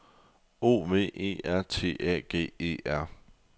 O V E R T A G E R